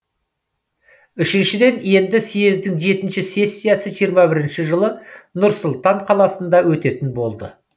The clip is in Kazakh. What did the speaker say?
үшіншіден енді съездің жетінші сессиясы жиырма бірінші жылы нұр сұлтан қаласында өтетін болды